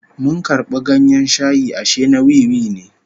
Mun karbi ganyen shayi ashe na wiwi ne